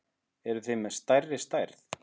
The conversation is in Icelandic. Eruð þið með stærri stærð?